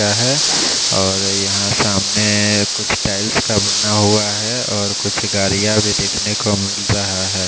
पर है और यहाँ सामने कुछ टाइल्स का बना हुआ है और गाड़िया भी दिख ने को मिल रहा है।